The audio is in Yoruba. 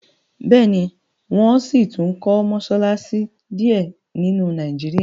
béèni wón síi tún kò Mossalassi diẹ sí nínu Nàìjíríà.